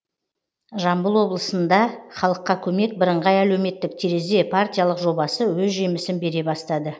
жамбыл облысында халыққа көмек бірыңғай әлеуметтік терезе партиялық жобасы өз жемісін бере бастады